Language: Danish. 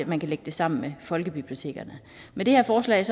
man kan lægge det sammen med folkebibliotekerne med det her forslag